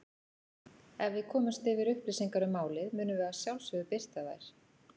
Ef við komumst yfir upplýsingar um málið munum við að sjálfsögðu birta þær.